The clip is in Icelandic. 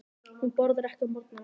Hún borðar ekki á morgnana.